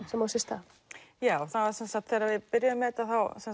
sem á sér stað já þegar við byrjuðum með þetta